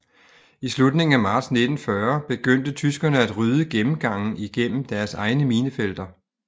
I slutningen af marts 1940 begyndte tyskerne at rydde gennemgange igennem deres egne minefelter